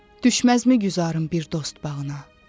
Düşməzmi güzarın bir dost bağına?